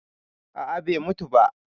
Aa, bai mutu ba.